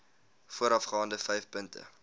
voorafgaande vyf punte